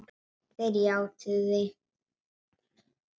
Þeir játuðu því.